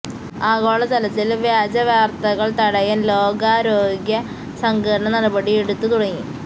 ആഗോള തലത്തില് വ്യാജ വാര്ത്തകള് തടയാന് ലോകാരോഗ്യ സംഘടന നടപടി എടുത്ത് തുടങ്ങി